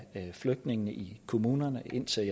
flygtninge i kommunerne indtil